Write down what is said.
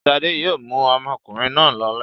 Ṣadé yóò mú ọmọkùnrin náà lọlé.